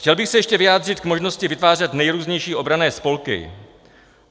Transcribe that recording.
Chtěl bych se ještě vyjádřit k možnosti vytvářet nejrůznější obranné spolky.